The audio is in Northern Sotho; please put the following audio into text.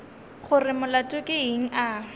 gore molato ke eng a